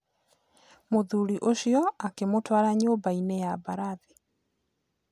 Mũthuri ũcio akĩmũtwara nyũmbainĩ ya mbarathi.